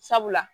Sabula